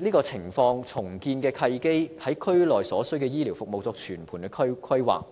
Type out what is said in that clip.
亦可藉重建的契機就區內所需的醫療服務作全盤規劃。